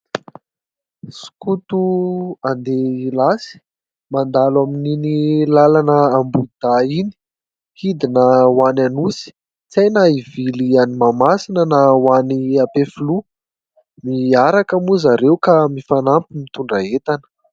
Skoto handeha hilasy mandalo amin'iny lalana ambohidahy iny, hidina ho any Anosy ; tsy hay na hivily any Mahamasina na ho an'ny Ampefiloha. Miaraka moa zareo ka mifanampy mitondra entana.